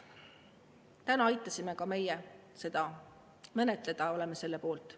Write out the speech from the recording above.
Täna aitasime ka meie seda menetleda ja oleme selle poolt.